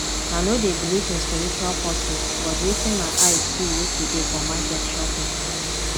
i no dey believe in spiritual forces but wetin my eye see yesterday for market shock me